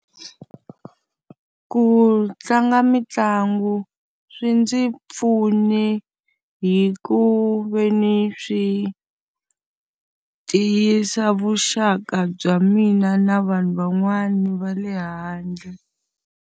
Ku tlanga mitlangu swi ndzi pfune hi ku ve ni swi tiyisa vuxaka bya mina na vanhu van'wana va le handle.